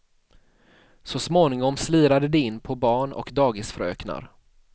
Så småningom slirade de in på barn och dagisfröknar.